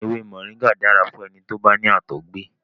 Èwé Moringa dára fún ẹni tó bá ní àtọ̀gbẹ.